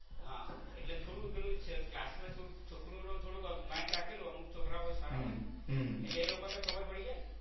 હા એટલે થોડું પેલું ક્લાસમાં છોકરું નું થોડુંક mind રાખેલું અમુક છોકરા સારા હોય ને એટલે એ લોકો ને તો ખબર પડી જાય ને.